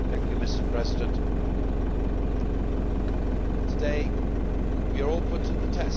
Mr President, today we are all put to the test.